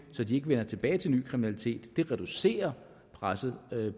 så de ikke vender tilbage til ny kriminalitet det reducerer presset